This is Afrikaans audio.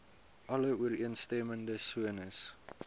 alle ooreenstemmende sones